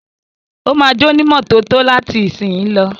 Ó máa jónímọ́tótó láti ìsìnyí lọ.